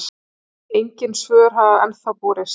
Engin svör hafa ennþá borist.